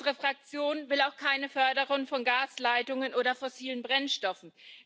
Unsere Fraktion will auch keine Förderung von Gasleitungen oder fossilen Brennstoffen.